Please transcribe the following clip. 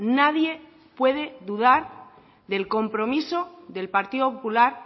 nadie puede dudar del compromiso del partido popular